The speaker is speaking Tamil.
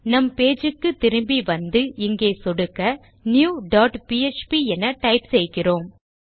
நம் பேஜ் க்கு திரும்பி வந்து இங்கே சொடுக்க நியூ டாட் பிஎச்பி என டைப் செய்கிறோம்